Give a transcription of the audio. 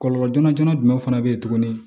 Kɔlɔlɔ joona joona jumɛn fana bɛ ye tuguni